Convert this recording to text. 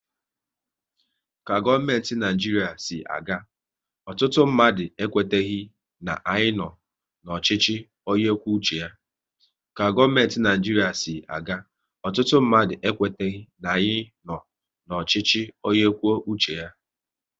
Ka gọọmenti Naijiria si aga, ọtụtụ mmadụ ekweteghi na anyị nọ n'ọchịchị onye kwuo uche ya